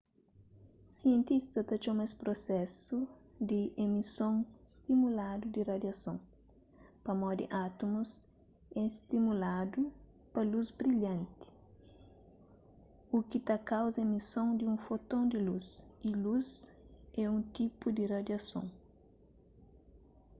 sientistas ta txoma es prusesu di emison stimuladu di radiason pamodi átumus é stimuladu pa lus brilhanti u ki ta kauza emison di un foton di lus y lus é un tipu di radiason